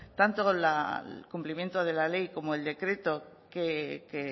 tanto el cumplimiento de la ley como el decreto que